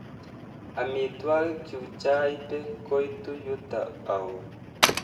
Amitwagikchu chaipe koitu yuto au?